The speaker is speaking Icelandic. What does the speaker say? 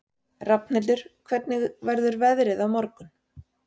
Rafnhildur, hvernig verður veðrið á morgun?